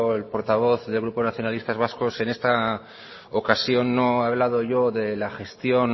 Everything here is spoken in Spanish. el portavoz del grupo nacionalistas vascos en esta ocasión no he hablado yo de la gestión